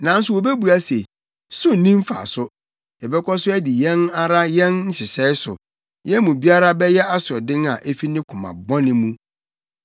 Nanso wobebua se, ‘So nni mfaso. Yɛbɛkɔ so adi yɛn ara yɛn nhyehyɛe so; yɛn mu biara bɛyɛ asoɔden a efi ne koma bɔne mu.’ ”